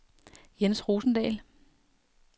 Jens Rosendahl